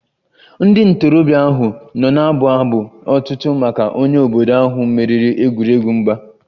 Ndị ntorobịa ahụ nọ na-abụ abụ otuto maka onye obodo ahụ meriri egwuregwu mgba